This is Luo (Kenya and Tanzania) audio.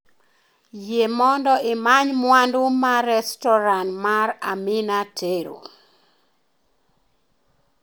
Yie mondo imany mwandu ma restoran mar Amina tero